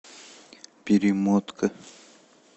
перемотка